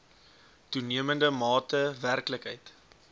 toenemende mate werklikheid